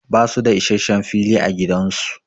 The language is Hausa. Ba su da issashen fili a gidan su.